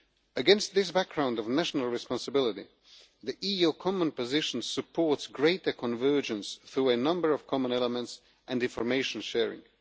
Against this background of national responsibility, the EU common position supports greater convergence through a number of common elements and information sharing.